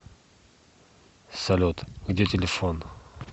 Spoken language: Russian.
салют где телефон